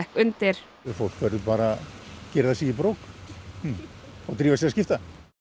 undir fólk verður bara að girða sig í brók og drífa sig að skipta